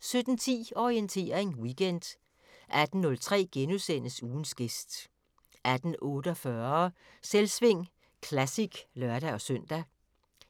17:10: Orientering Weekend 18:03: Ugens gæst * 18:48: Selvsving Classic (lør-søn)